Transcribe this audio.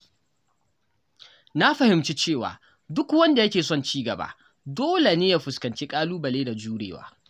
Na fahimci cewa duk wanda yake son ci gaba dole ne ya fuskanci ƙalubale da jurewa.